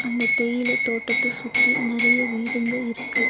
அந்த தேயில தோட்டத்த சுத்தி நறைய வீடுங்க இருக்கு.